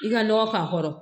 I ka nɔgɔ k'a kɔrɔ